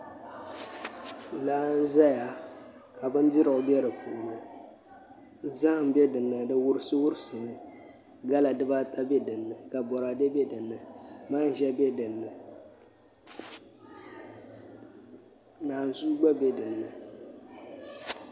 Laa n ʒɛya ka bindira bɛ di puuni zaham bɛ dinni di wurisi wurisi mi gala dibaata bɛ dinni ka boraadɛ bɛ dinni manʒa bɛ dinni naanzuu gba bɛ dinni